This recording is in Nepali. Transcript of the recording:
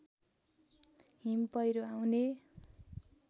हिम पहिरो आउने